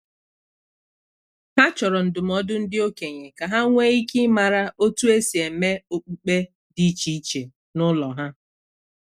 Ha chọrọ ndụmọdụ ndị okenye ka ha nwee ike ịmara otu esi eme okpukpe dị iche iche n'ụlọ ha